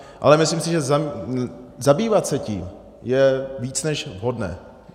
Ale myslím si, že zabývat se tím je více než vhodné.